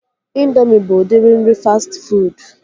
Indoomị bụ udiri nri fastị fuud